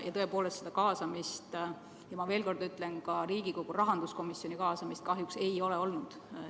Tõepoolest, kaasamist ja ma veel kord ütlen, et ka Riigikogu rahanduskomisjoni kaasamist kahjuks ei ole olnud.